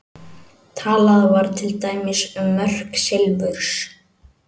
Talað var til dæmis um mörk silfurs.